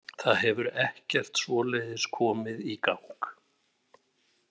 Það hefur ekkert svoleiðis komið í gang.